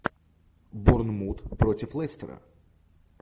борнмут против лестера